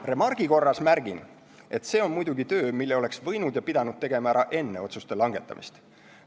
Remargi korras märgin, et see on muidugi töö, mille oleks võinud ja pidanud tegema ära enne otsuste langetamist.